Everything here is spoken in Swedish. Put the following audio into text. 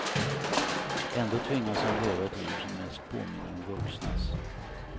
Ändå tvingas han leva ett liv som mest påminner om vuxnas.